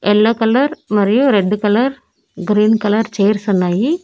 Yellow colour మరియు red colour green colour chairs ఉన్నాయి.